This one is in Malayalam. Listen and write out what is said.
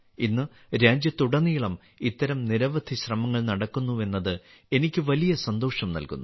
ഇന്ന് രാജ്യത്തുടനീളം ഇത്തരം നിരവധി ശ്രമങ്ങൾ നടക്കുന്നുവെന്നത് എനിക്ക് വലിയ സന്തോഷം നൽകുന്നു